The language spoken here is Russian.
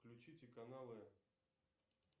включите каналы